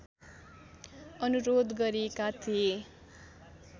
अनुरोध गरेका थिए